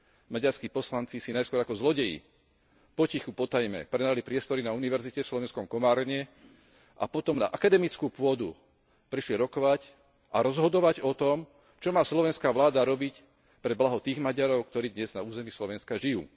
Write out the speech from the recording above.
Maďarskí poslanci si najskôr ako zlodeji, potichu, potajme prenajali priestory na univerzite v slovenskom Komárne a potom na akademickú pôdu prišli rokovať a rozhodovať o tom, čo má slovenská vláda robiť pre blaho tých Maďarov, ktorí dnes na území Slovenska žijú.